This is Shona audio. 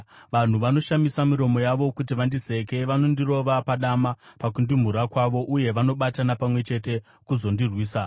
Vanhu vanoshamisa miromo yavo kuti vandiseke; vanondirova padama pakundimhura kwavo, uye vanobatana pamwe chete kuzondirwisa.